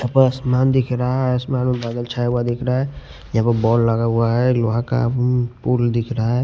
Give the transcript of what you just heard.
आसमान दिख रहा है आसमान में बादल छाया हुआ दिख रहा है यहां पर बॉल लगा हुआ है लोहा का पूल दिख रहा है।